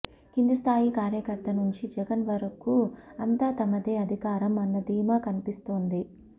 కింది స్థాయి కార్యకర్త నుంచి జగన్ వరకు అంతా తమదే అధికారం అన్న ధీమా కనిపిస్తోంది